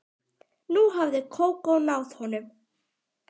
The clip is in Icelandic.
Nú hafði Kókó náð honum.